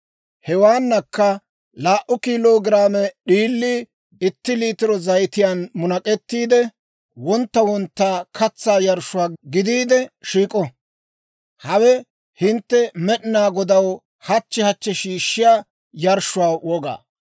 Hewaanakka laa"u kilo giraame d'iilii itti liitiro zayitiyaan munak'ettiide, wontta wontta katsaa yarshshuwaa gidiide shiik'o. Hawe hintte Med'inaa Godaw hachchi hachchi shiishshiyaa yarshshuwaa wogaa.